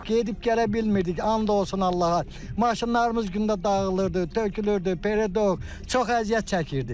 Gedib gələ bilmirdik, and olsun Allaha, maşınlarımız gündə dağılırdı, tökülürdü, pere, çox əziyyət çəkirdik.